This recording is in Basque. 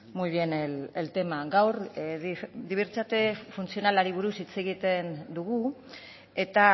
muy bien el tema gaur dibertsitate funtzionalari buruz hitz egiten dugu eta